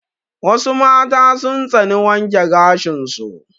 Wassu mata sun tsani wanke gashin su